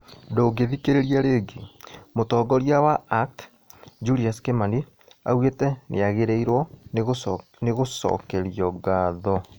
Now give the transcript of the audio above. Ndũngĩthikĩrĩria ringi, Mũtongoria wa ACT: Julius Kimani augĩte nĩagĩrĩirwo nĩ gũcokerio ngatho